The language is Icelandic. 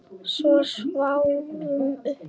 Við sváfum uppi.